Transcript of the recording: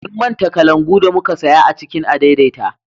Mun manta kalangu da muka saya a cikin adaidaita